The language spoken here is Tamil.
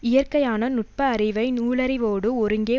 இயற்கையான நுட்ப அறிவை நூலறிவோடு ஒருங்கே